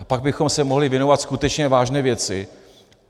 A pak bychom se mohli věnovat skutečně vážné věci.